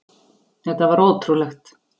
Þetta var ótrúlegt.